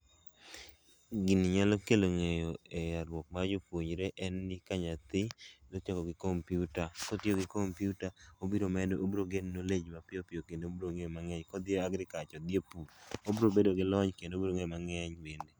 gini nyalo kelo ng'eyo a mar jopuonjre en ni ka nyathi dwa chako gi computer. Kotiyo gi computer, obiro medo obiro gain knowledge mapiyopiyo kendo obiro ng'eyo mangeny. Kodhiye agriculture odhie pur, obiro bedo gi lony kendo obiro ng'eyo mang'eny bende.